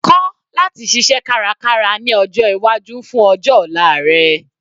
Kọ́ láti ṣiṣẹ́ kárakára ní ọjọ́ iwájú fún ọjọ́ ọ̀la rẹ.